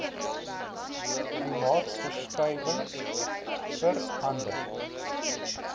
klimaatsverskuiwinhg vera nder